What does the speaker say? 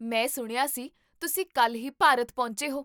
ਮੈਂ ਸੁਣਿਆ ਕੀ ਤੁਸੀਂ ਕੱਲ੍ਹ ਹੀ ਭਾਰਤ ਪਹੁੰਚੇ ਹੋ